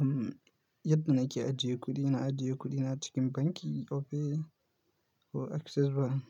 Am yadda nake ajiye kuɗi, ina ajiye kuɗina cikin banki Opay ko Access Bank